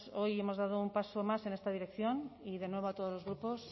hoy hemos dado un paso más en esta dirección y de nuevo a todos los grupos